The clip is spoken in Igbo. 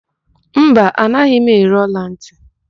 Mba, anaghị m ere ọlantị.